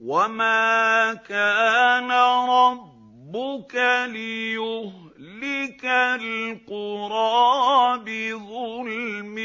وَمَا كَانَ رَبُّكَ لِيُهْلِكَ الْقُرَىٰ بِظُلْمٍ